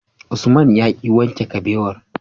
Usman yaki wanke kabewar